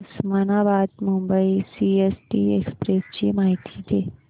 Osmanabad Mumbai CST express ची माहिती दे